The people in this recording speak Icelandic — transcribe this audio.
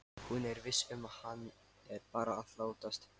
Hún er viss um að hann er bara að látast.